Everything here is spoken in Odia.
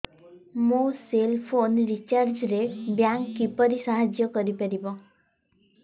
ମୋ ସେଲ୍ ଫୋନ୍ ରିଚାର୍ଜ ରେ ବ୍ୟାଙ୍କ୍ କିପରି ସାହାଯ୍ୟ କରିପାରିବ